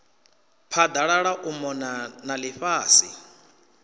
phaḓalala u mona na ḽifhasi